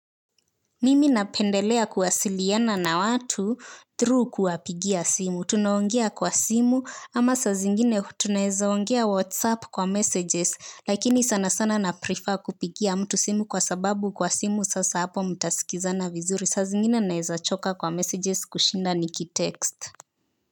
Mimi napendelea kuwasiliana na watu through kuwapigia simu. Tunaongia kwa simu ama sa zingine tunaeza ongea whatsapp kwa messages lakini sana sana na prefer kupigia mtu simu kwa sababu kwa simu sasa hapo mtasikizana vizuri. Sa zingine naeza choka kwa messages kushinda niki text.